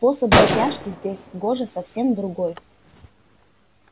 способ запряжки здесь гоже совсем другой